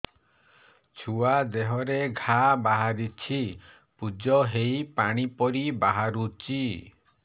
ଛୁଆ ଦେହରେ ଘା ବାହାରିଛି ପୁଜ ହେଇ ପାଣି ପରି ବାହାରୁଚି